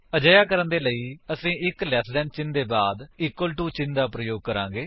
ਅਜਿਹਾ ਕਰਨ ਦੇ ਲਈ ਅਸੀ ਇੱਕ ਲੈਸ ਦੈਨ ਚਿੰਨ੍ਹ ਦੇ ਬਾਅਦ ਇੱਕ ਇਕਵਲ ਟੂ ਚਿੰਨ੍ਹ ਦਾ ਪ੍ਰਯੋਗ ਕਰਾਂਗੇ